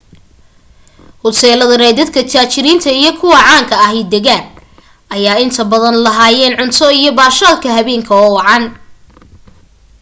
hoteeladan ay dadka taajiriinta iyo kuwa caanka ah degaan ayaa inta badan lahaayeen cunto iyo baashaalka habeenka oo wacan